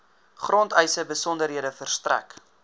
grondeise besonderhede verstrek